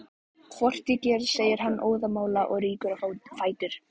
Hvort ég geri, segir hann óðamála og rýkur á fætur.